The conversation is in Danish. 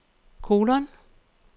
kolon